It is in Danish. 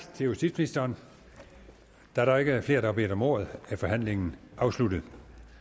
til justitsministeren da der ikke er flere der har bedt om ordet er forhandlingen afsluttet